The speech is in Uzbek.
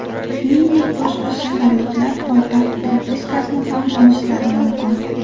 Shuningdek, boshqa shaharliklar poytaxt propiskasini ham olishlari mumkin.